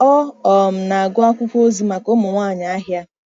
Ọ um na-agụ akwụkwọ ozi maka ụmụ nwanyị ahịa.